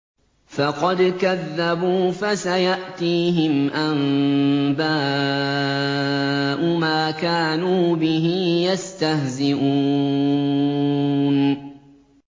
فَقَدْ كَذَّبُوا فَسَيَأْتِيهِمْ أَنبَاءُ مَا كَانُوا بِهِ يَسْتَهْزِئُونَ